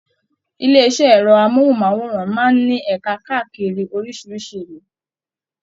Ilé iṣẹ ẹrọ amohunmaworan máa n ní ẹka káàkiri orísirísi ìlú.